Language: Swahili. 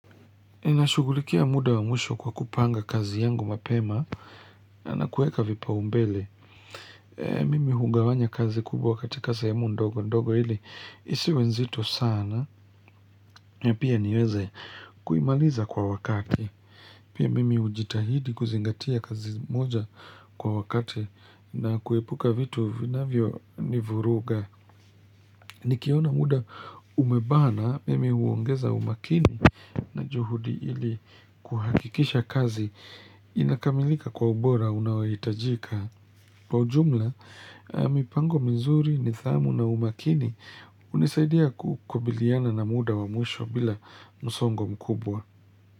Ninashughulikia muda wa mwisho kwa kupanga kazi yangu mapema na kuweka vipaumbele Mimi hugawanya kazi kubwa katika sehemu ndogo ndogo ili Isiwe nzito sana Pia niweze kuimaliza kwa wakati Pia mimi hujitahidi kuzingatia kazi moja kwa wakati na kuepuka vitu vinavyonivuruga Nikiona muda umebana Mimi huongeza umakini na juhudi ili kuhakikisha kazi inakamilika kwa ubora unaohitajika pa ujumla, mipango mzuri, nidhamu na umakini hunisaidia kukabiliana na muda wa mwisho bila msongo mkubwa.